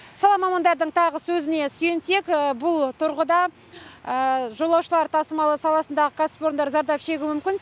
сала мамандардың тағы сөзіне сүйенсек бұл тұрғыда жолаушылар тасымалы саласындағы кәсіпорындар зардап шегуі мүмкін